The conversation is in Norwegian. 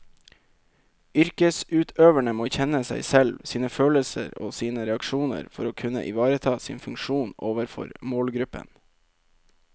Yrkesutøverne må kjenne seg selv, sine følelser og sine reaksjoner for å kunne ivareta sin funksjon overfor målgruppen.